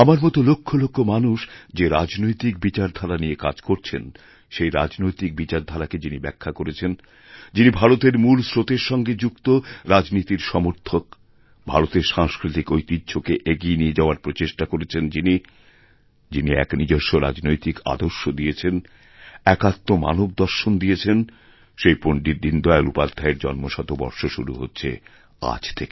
আমার মত লক্ষ লক্ষ মানুষ যে রাজনৈতিকবিচারধারা নিয়ে কাজ করছেন সেই রাজনৈতিক বিচারধারাকে যিনি ব্যাখ্যা করেছেন যিনিভারতের মূল স্রোতের সঙ্গে যুক্ত রাজনীতির সমর্থক ভারতের সাংস্কৃতিক ঐতিহ্যকে এগিয়েনিয়ে যাওয়ার প্রচেষ্টা করেছেন যিনি যিনি এক নিজস্ব রাজনৈতিক আদর্শ দিয়েছেনএকাত্ম মানব দর্শন দিয়েছেন সেই পণ্ডিত দীনদয়াল উপাধ্যায়ের জন্মশতবর্ষ শুরু হচ্ছেআজ থেকে